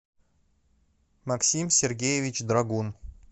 максим сергеевич драгун